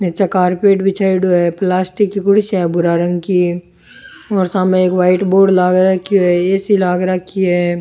नीचे कारपेट बिछाईडो है प्लास्टिक की कुर्सीया है भूरा रंग की और सामने वाइट बोर्ड लाग रखी है ए सी लाग रखी है।